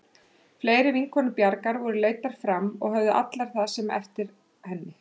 Fleiri vinkonur Bjargar voru leiddar fram og höfðu allar það sama eftir henni.